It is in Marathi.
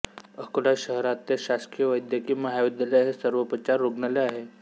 अकोला शहरातले शासकीय वैद्यकीय महाविद्यालय हे सर्वोपचार रुग्णालय आहे